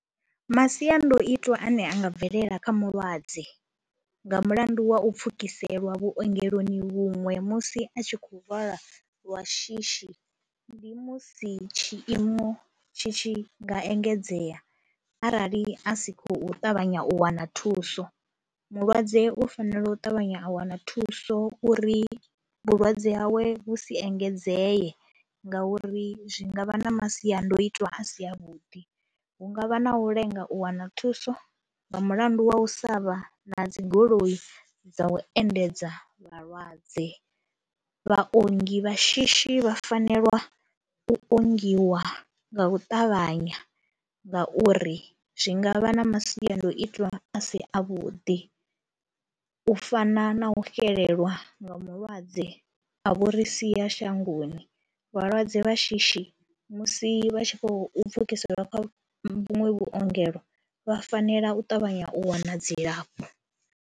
Masiandoitwa ane a nga bvelela kha mulwadze nga mulandu wa u pfhukiseliwa vhuongeloni vhuṅwe musi a tshi khou lwala lwa shishi, ndi musi tshiimo tshi tshi nga engedzea arali a si khou ṱavhanya u wana thuso, mulwadze u fanela u ṱavhanya a wana thuso uri vhulwadze hawe vhu si engedzee ngauri zwi nga vha na masiandoitwa a si avhuḓi. Hu nga vha na u lenga u wana thuso nga mulandu wa u sa vha na dzi goloi dza u endedza vhalwadze, vhaongi vha shishi vha fanela u ongiwa nga u ṱavhanya ngauri zwi nga vha na masiandoitwa a si avhuḓi, u fana na u xelelwa nga mulwadze a vho ri sia shangoni. Vhalwadze vha shishi musi vha tshi khou pfhukiseliwa kha vhuṅwe vhuongelo vha fanela u ṱavhanya u wana dzilafho.